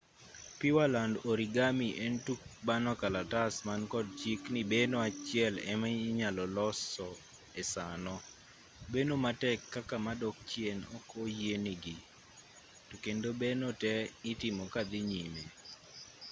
pureland origami en tuk bano kalatas mankod chik ni beno achiel ema inyalo loso e sano beno matek kaka madok chien ok oyienegi to kendo beno te itimimo kadhii nyime